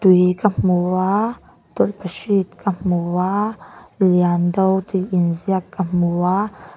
tui ka hmu a tawlhpahrit ka hmu a liando tih inziak ka hmu a.